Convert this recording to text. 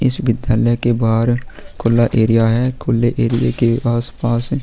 इस विद्यालय के बाहर खुला एरिया है खुल्ले एरिया के आस-पास--